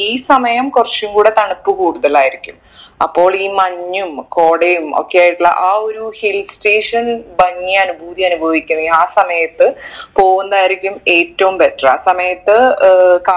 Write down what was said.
ഈ സമയം കുറച്ചുംകൂടെ തണുപ്പ് കൂടുതലായിരിക്കും അപ്പോൾ ഈ മഞ്ഞും കോടയും ഒക്കെ ആയിട്ടുള്ള ആ ഒരു hill station ഭംഗി അനുഭൂതി അനുഭവിക്കുന്നെ ആ സമയത്ത് പോകുന്നതായിരിക്കും ഏറ്റവും better ആ സമയത്ത് ഏർ